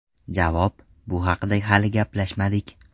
Javob: Bu haqda hali gaplashmadik.